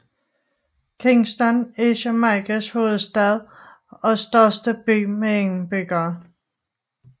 Kingston er Jamaicas hovedstad og største by med indbyggere